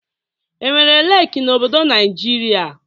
Enwere leeki n'obodo Naịjịrịa?